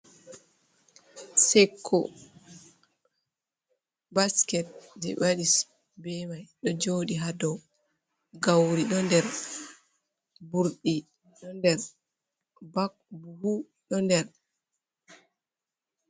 Sekko: Basket je ɓe wadi be mai ɗo jodi ha nder, gauri ɗo nder, burɗi ɗo nder, buhu ɗo nder.